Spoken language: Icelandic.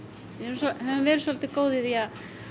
við höfum verið svolítið góð í því að